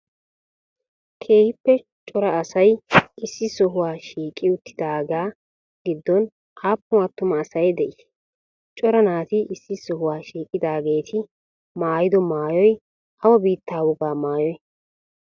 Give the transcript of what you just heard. Keehippe cora asay issi sohuwa shiqqidi uttidagaa giddon appun attummaa asay de'i? Cora naati issi sohuwa shiqqidageeti maayido maayoy awa biittaa woga maayoy?